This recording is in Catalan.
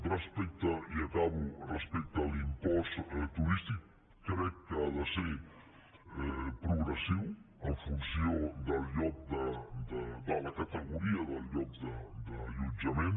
respecte i acabo a l’impost turístic crec que ha de ser progressiu en funció de la categoria del lloc d’allotjament